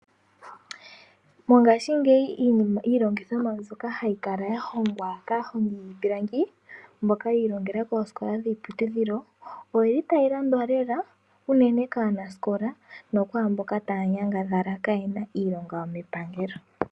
Mongaashingeyi iilongithomwa mbyoka hayi kala yahongwa kaahongi yiipilangi, mboka yiilongela koosikola dhiiputudhilo, oyi li tayi landwa lela, unene kaanasikola, nokwaamboka taya nyangadhala kaayena iilonga yomepangelo.